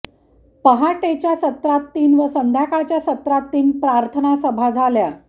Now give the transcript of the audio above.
पहाटेच्या सत्रात तीन व संध्याकाळच्या सत्रात तीन प्रार्थनासभा झाल्या